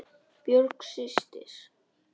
Björk systir.